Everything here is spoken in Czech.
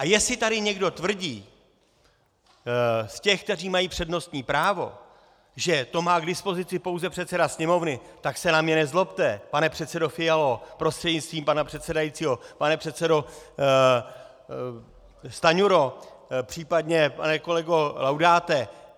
A jestli tady někdo tvrdí z těch, kteří mají přednostní právo, že to má k dispozici pouze předseda Sněmovny, tak se na mě nezlobte, pane předsedo Fialo prostřednictvím pana předsedajícího, pane předsedo Stanjuro, případně pane kolego Laudáte.